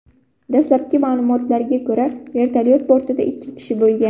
Dastlabki ma’lumotlarga ko‘ra, vertolyot bortida ikki kishi bo‘lgan.